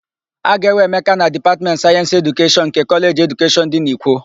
A ga-ewe Emeka na Dipatmentị Sayensị Edukeshọn nke Kọleji Edukeshọn dị n'Ikwo.